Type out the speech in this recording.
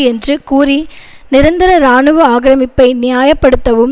என்று கூறி நிரந்தர இராணுவ ஆக்கிரமிப்பை நியாய படுத்தவும்